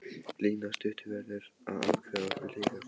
Lína stutta verður að afgreiða okkur líka.